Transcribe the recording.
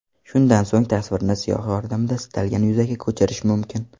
Shundan so‘ng tasvirni siyoh yordamida istalgan yuzaga ko‘chirish mumkin.